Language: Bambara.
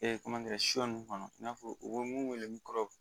ninnu kɔnɔ i n'a fɔ u bɛ mun wele kɔrɔ